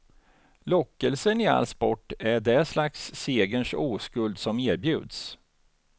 Lockelsen i all sport är det slags segerns oskuld som erbjuds.